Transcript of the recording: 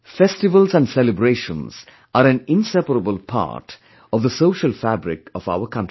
Festivals and celebrations are an inseparable part of the social fabric of our country